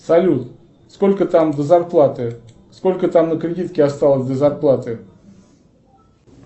салют сколько там до зарплаты сколько там на кредитке осталось до зарплаты